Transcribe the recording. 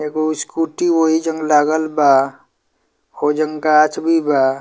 एगो स्कूटी वहीजन लागल बा हो जन गाक्ष भी बा।